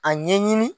A ɲɛɲini